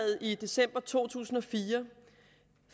i december to tusind og fire